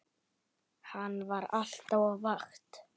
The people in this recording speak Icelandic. Hann var alltaf á vakt.